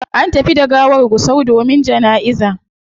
An tafi da gawar gusau domin janaiza